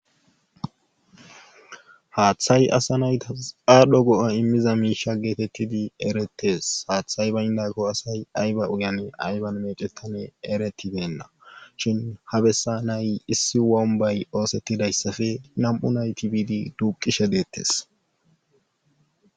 Aaththay asa naytas aadhdho go'a immiza miisha geetettidi erettes haaththay baynda ko asay ayba uyane ayban mecetane eretideenna shin habesa nay issi wombay oosettidayssafe nam7u nayti biidi duuqishe deettes.